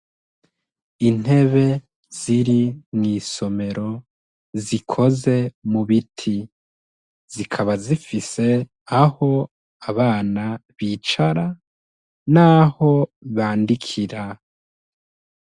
Intebe ziri mw'isomero zikoze mu biti zikaba zifise aho abana bicara, naho bandikira.